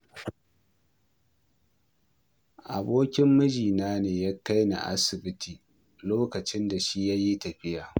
Abokin mijina ne ya kai ni asibiti lokacin da shi ya yi tafiya